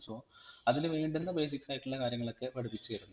so അതിനു വേണ്ടുന്ന basics ആയിട്ടുള്ള കാര്യങ്ങളൊക്കെ പഠിപ്പിച്ചു തരും.